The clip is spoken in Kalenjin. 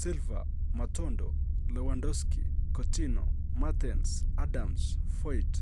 Silva, Matondo, Lewandoski, Coutinho, Mertens, Adams, Foyth